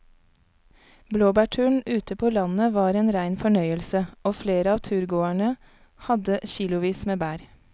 Blåbærturen ute på landet var en rein fornøyelse og flere av turgåerene hadde kilosvis med bær.